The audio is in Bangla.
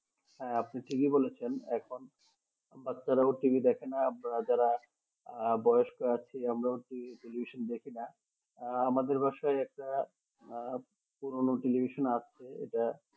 হ্যাঁ আপনি ঠিকই বলেছেন এখন বাচ্ছারাও TV দেখে না যারা বয়স্ক আছে আমরাও টেলিভিশন দেখি না আহ আমাদের বাসাই একটা আহ পুরোনো টেলিভিশন আছে এটা